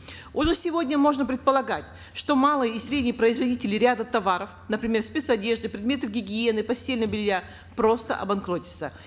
уже сегодня можно предполагать что малые и средние производители ряда товаров например спецодежды предметов гигиены постельного белья просто обанкротятся